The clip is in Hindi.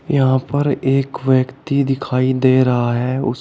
यहां पर एक व्यक्ति दिखाई दे रहा है उस--